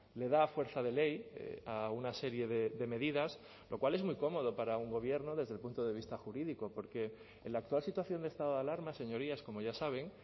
le da fuerza de ley a una serie de medidas lo cual es muy cómodo para un gobierno desde el punto de vista jurídico porque en la actual situación de estado de alarma señorías como ya saben